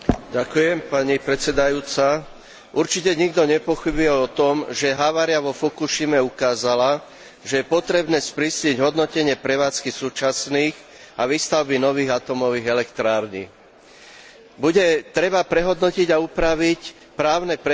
Určite nikto nepochybuje o tom, že havária vo Fukušime ukázala, že je potrebné sprísniť hodnotenie prevádzky súčasných a výstavby nových atómových elektrární. Bude treba prehodnotiť a upraviť právne predpisy a parametre záťažových testov